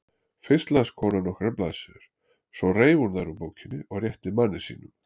Fyrst las konan nokkrar blaðsíður, svo reif hún þær úr bókinni og rétti manni sínum.